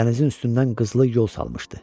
Dənizin üstündən qızılı yol salmışdı.